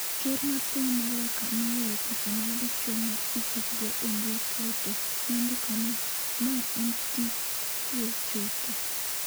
ker mar piny ma loka nooro picha mar dichuwo ma ichich go e mbui kae to nondiko ni "mae en tij kuwo chutho".